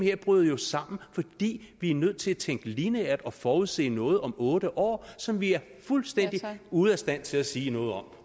jo bryder sammen fordi vi er nødt til at tænke lineært og forudse noget om otte år som vi er fuldstændig ude af stand til at sige noget om